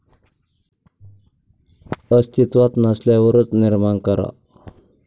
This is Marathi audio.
अस्तित्वात नसल्यावरच निर्माण करा